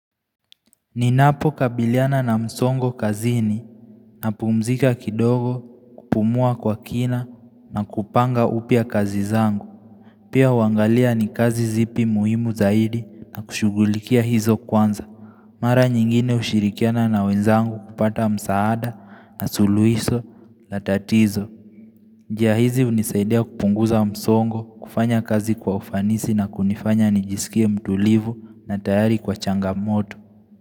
Ninapo kabiliana na msongo kazini napumzika kidogo kupumua kwa kina na kupanga upya kazi zangu. Pia uangalia ni kazi zipi muhimu zaidi na kushughulikia hizo kwanza. Mara nyingine hushirikiana na wenzangu kupata msaada na suluhisho la tatizo. Njia hizi hunisaidia kupunguza msongo kufanya kazi kwa ufanisi na kunifanya nijisikia mtulivu na tayari kwa changamoto.